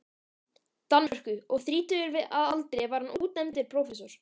Danmörku, og þrítugur að aldri var hann útnefndur prófessor.